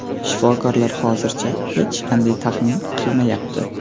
Shifokorlar hozircha hech qanday taxmin qilmayapti.